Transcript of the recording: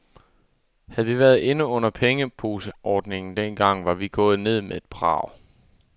Havde vi været inde under pengeposeordningen dengang, var vi gået ned med et brag.